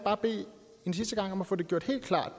en sidste gang bede om at få gjort helt klart